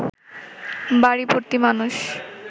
বাড়ি ভর্তি মানুষ